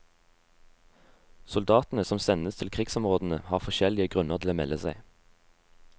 Soldatene som sendes til krigsområdene har forskjellige grunner til å melde seg.